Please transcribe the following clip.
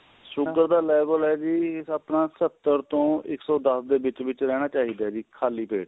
sugar ਦਾ level ਏ ਜੀ ਆਪਣਾ ਸਤਰ ਤੋਂ ਇੱਕ ਸੋ ਦੱਸ ਦੇ ਵਿੱਚ ਵਿੱਚ ਰਹਿਣਾ ਚਾਹੀਦਾ ਜੀ ਖਾਲੀ ਪੇਟ